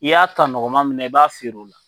I y'a ta nɔgɔma min na i b'a feere u la.